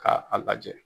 K'a a lajɛ